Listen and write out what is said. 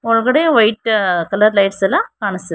ಒಳಗಡೆ white colours light ಎಲ್ಲ ಕಾನಸ್ತತಿ--